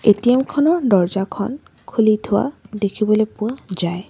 ATM খনৰ দৰ্জাখন খুলি থোৱা দেখিবলৈ পোৱা যায়।